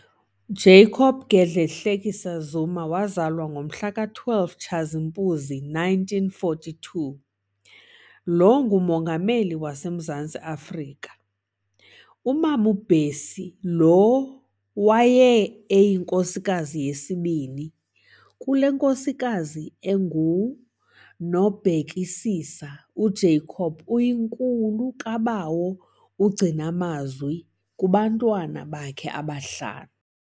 Jacob Gedleyihlekisa Zuma, wazalwa ngomhla we-12 Tshazimpuzi 1942-, lo nguMongameli waseMzantsi Afrika. Umam'uBessie lo ke waye eyinkosikazi yesibini.kule nkosikazi enguNobhekisisa, u-Jacob uyinkulu kaBawo uGcinamazwi kubantwana bakhe abahlanu.